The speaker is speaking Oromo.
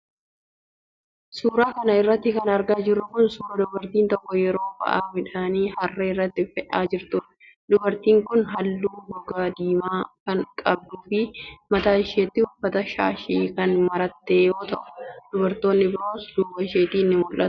Suura kana irratti kan argaa jirru kun, suura dubartiin tokko yeroo ba'aa midhaanii harree irratti fe'aa jirtuudha. Dubartiin kun haalluu gogaa diimaa kan qabduu fi mataa isheetti uffata shaashii kan maratte yoo ta'u ,dubartoonni biroos duuba isheetti ni mul'atu.